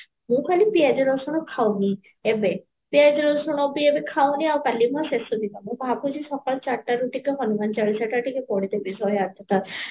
ମୁଁ ଖାଲି ପିଆଜ ରସୁଣ ଖାଉନି ଏବେ ପିଆଜ ରସୁଣ ପିଆଜ ଖାଉନି ଆଉ କାଲୀ ମୋ ଶେଷ ଦିନ ମୁଁ ଭାବୁଚି ସକାଳ ଚାରିଟାରୁ ଊଠିକି ଟିକେ ହନୁମାନ ଚାଳିଶା ଟା ପଢିଦେବି ଶହେ ଆଠ ଥର